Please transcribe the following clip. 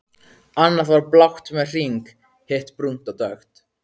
Annað var blátt með hring í, hitt brúnt og dökkt.